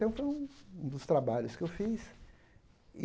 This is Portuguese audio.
Então, foi um um dos trabalhos que eu fiz e.